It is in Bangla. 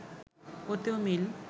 ওতেও মিল